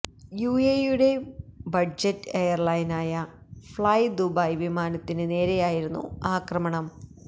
U A ഇയുടെ budget എയര്ലൈനായ Flydubai വിമാനത്തിന് നേരെയായിരുന്നു ആക്രമണം